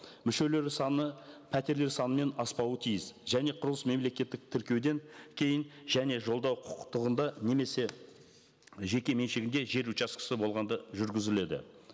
мүшелері саны пәтерлер санымен аспауы тиіс және құрылыс мемлекеттік тіркеуден кейін және жолдау құқықтығында немесе жекеменшігінде жер учаскесі болғанда жүргізіледі